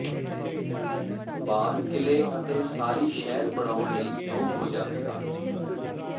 ਬਾਲ ਕਿਲੇ ਅਤੇ ਸਾਰੀ ਸ਼ਹਿਰ ਬਣਾਉਣ ਲਈ ਯੋਗ ਹੋ ਜਾਵੇਗਾ